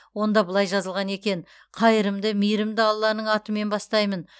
онда былай жазылған екен қайырымды мейірімді алланың атымен бастаймын